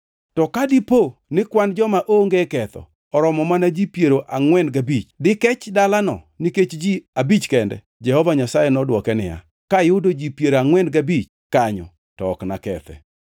To ka dipo ni kwan joma onge ketho oromo mana ji piero angʼwen gabich, dikech dalano nikech ji abich kende?” Jehova Nyasaye nodwoke niya, “Kayudo ji piero angʼwen gabich kanyo, to ok nakethe.”